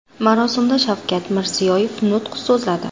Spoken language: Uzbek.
Marosimda Shavkat Mirziyoyev nutq so‘zladi.